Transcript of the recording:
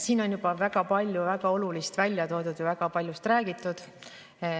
Siin on juba väga palju väga olulist välja toodud, väga paljust räägitud.